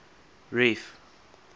reef